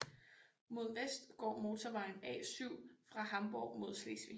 Mod vest går motorvejen A7 fra Hamborg mod Slesvig